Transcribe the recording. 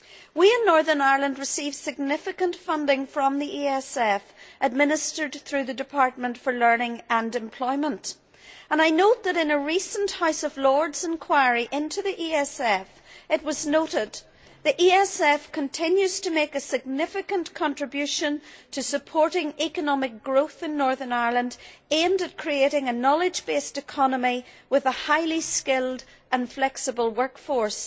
We in Northern Ireland receive significant funding from the ESF administered through the Department for Learning and Employment, and I note that in a recent House of Lords enquiry into the ESF, it was noted the ESF continues to make a significant contribution to supporting economic growth in Northern Ireland, aimed at creating a knowledge based economy with a highly skilled and flexible workforce.